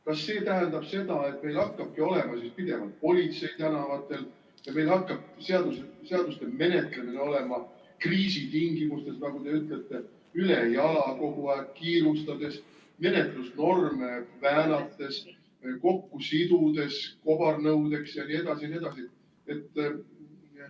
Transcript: Kas see tähendab seda, et meil hakkabki olema siis pidevalt politsei tänavatel ja meil hakkabki seaduste menetlemine olema kriisitingimustes, nagu te ütlete, ülejala, kogu aeg kiirustades, menetlusnorme väänates, kobareelnõudeks kokku sidudes jne?